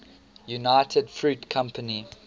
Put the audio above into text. united fruit company